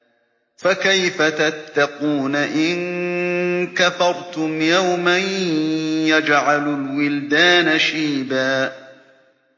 فَكَيْفَ تَتَّقُونَ إِن كَفَرْتُمْ يَوْمًا يَجْعَلُ الْوِلْدَانَ شِيبًا